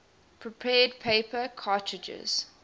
prepared paper cartridges